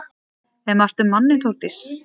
Er margt um manninn Þórdís?